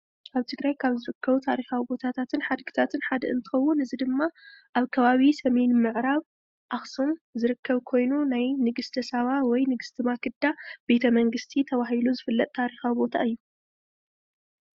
ኣብ ትግራይ ካብ ዝርከቡ ቦታታትን ሓድግታትን እንትከውን እዚ ድማ ኣብ ከባቢ ሰሜን ምዕራብ ኣክሱም ዝርከብ ኮይኑ ናይ ንግስተ ሰባ ወይ ንግስቲ ማክዳ ቤተ መንግስቲ ተባሂሉ ዝፍለጥ ታሪካዊ ቦታ እዩ፡፡